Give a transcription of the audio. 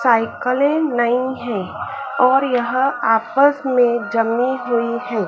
साइकिलें नई हैं और यह आपस में जमी हुई हैं।